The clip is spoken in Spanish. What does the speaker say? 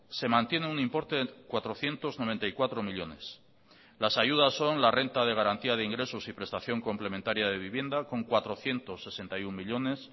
se mantiene un importe de cuatrocientos noventa y cuatro millónes las ayudas son la renta de garantía de ingresos y prestación complementaria de vivienda con cuatrocientos sesenta y uno millónes